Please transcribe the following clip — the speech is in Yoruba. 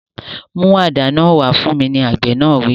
Mú àdá náà wá fún mi! Àgbẹ̀ náà wí.